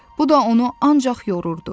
Bu da onu ancaq yorurdu.